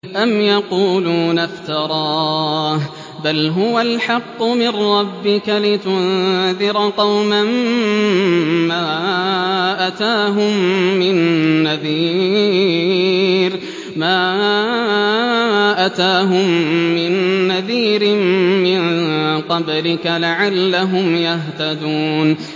أَمْ يَقُولُونَ افْتَرَاهُ ۚ بَلْ هُوَ الْحَقُّ مِن رَّبِّكَ لِتُنذِرَ قَوْمًا مَّا أَتَاهُم مِّن نَّذِيرٍ مِّن قَبْلِكَ لَعَلَّهُمْ يَهْتَدُونَ